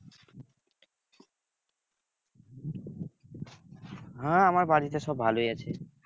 হ্যাঁ আমার বাড়িতে সব ভালোই আছে।